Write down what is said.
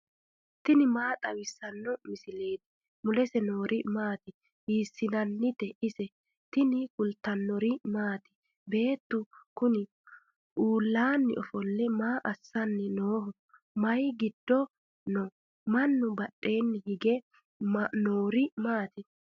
tini maa xawissanno misileeti ? mulese noori maati ? hiissinannite ise ? tini kultannori maati? Beettu kunni uulanni ofolle maa assanni nooho? mayi giddo noo? mannu badheenni hige noori maatti?